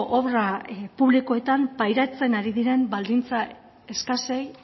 obra publikoetan pairatzen ari diren baldintza eskasei